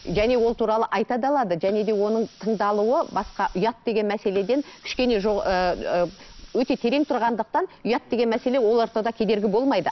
және ол туралы айта да алады және де оның тыңдалуы басқа ұят деген мәселеден кішкене ыыы өте терең тұрғандықтан ұят деген мәселе ол ортада кедергі болмайды